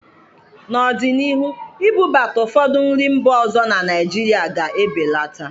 N'ọdịnihu, ibubata ụfọdụ nri mba ọzọ na Naijirịa ga-ebeleta.